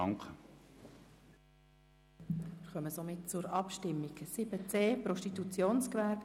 Wir kommen somit zur Abstimmung betreffen den Themenblock 7.c Prostitutionsgewerbe.